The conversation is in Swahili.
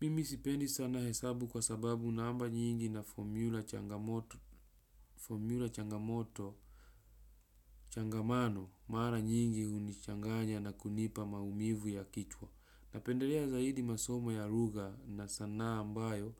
Mimi sipendi sana hesabu kwa sababu namba nyingi na fomula changamoto Formula changamoto changamano mara nyingi hunichanganya na kunipa maumivu ya kichwa. Napendelea zaidi masomo ya lugha na sanaa ambayo